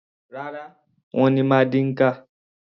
Rárá, wọ́n ní Mandinka.